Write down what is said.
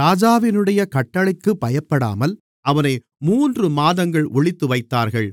ராஜாவினுடைய கட்டளைக்குப் பயப்படாமல் அவனை மூன்று மாதங்கள் ஒளித்து வைத்தார்கள்